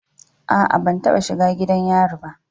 A'a, ban taba shiga gidan yari ba.